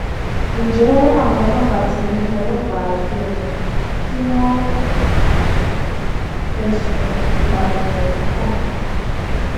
ǹjẹ àwọn ọlọpàá ti mú ọlọpàá ẹgbẹ wọn tí wọn fẹsùn ìpànìyàn ohun kan